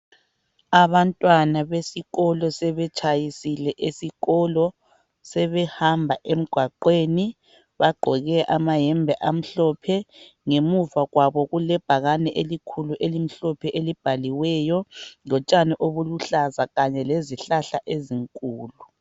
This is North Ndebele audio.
Abantwana besikolo sebetshayisile esikolo. Sebehamba emgwaqweni bagqoke amayembe amhlophe. Ngemuva kwabo kulebhakane elikhulu elimhlophe elibhaliweyo, lotshani obuluhlaza kanye lezihlahla ezinkulu.